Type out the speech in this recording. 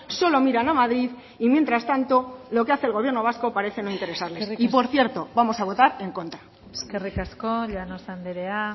solo miran a madrid y mientras tanto lo que hace el gobierno vasco parece no interesarles y por cierto vamos a votar en contra eskerrik asko llanos andrea